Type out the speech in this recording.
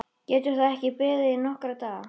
Getur það ekki beðið nokkra daga?